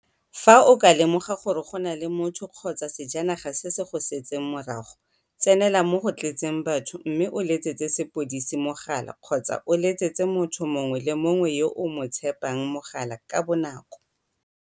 Fa o ka lemoga gore go na le motho kgotsa sejanaga se se go setseng morago, tsenelela mo go tletseng batho mme o letsetse sepodisi mogala kgotsa o letsetse motho mongwe le mongwe yo o mo tshepang mogala ka bonako.